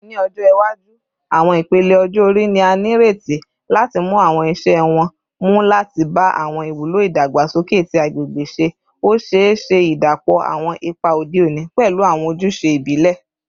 Ni ọjọ iwaju, awọn ipele ọjọ-ori ni a nireti lati mu awọn iṣẹ wọn mu lati ba awọn iwulo idagbasoke ti agbegbe ṣe, o ṣee ṣe idapọ awọn ipa ode oni pẹlu awọn ojuse ibile.